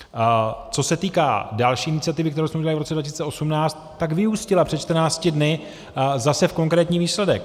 Co se týká další iniciativy, kterou jsme udělali v roce 2018, tak vyústila před 14 dny zase v konkrétní výsledek.